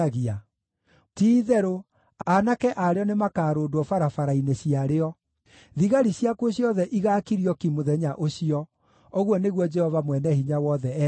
Ti-itherũ, aanake a rĩo nĩmakarũndwo barabara-inĩ ciarĩo; thigari ciakuo ciothe igaakirio ki mũthenya ũcio,” ũguo nĩguo Jehova Mwene-Hinya-Wothe ekuuga.